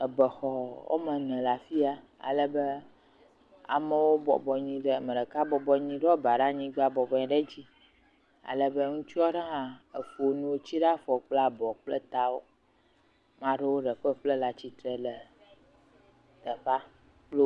Ebɛxɔ woame ene le afi ta. Alebe amewo bɔbɔ anyi ɖe, ame ɖeka bɔbɔ anyi ɖo aba ɖe anyigba bɔbɔ anyi ɖe edzi alebe ŋutsua aɖe hã efɔ nuwo tsi ɖe afɔ kple abɔ kple tawo. Ame ɖewo le ƒeƒle le atsitre le teƒea kple wo.